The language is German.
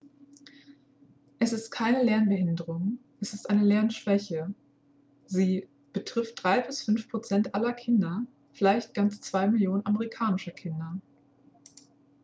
"es ist keine lernbehinderung es ist eine lernschwäche; sie "betrifft 3 bis 5 prozent aller kinder vielleicht ganze 2 millionen amerikanischer kinder"".